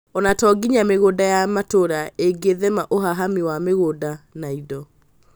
Onato nginya mĩgũnda ya matũra ĩngĩthema ũhahami wa mĩgũnda na indo